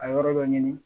A yɔrɔ dɔ ɲini